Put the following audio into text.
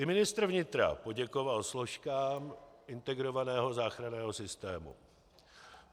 I ministr vnitra poděkoval složkám integrovaného záchranného systému.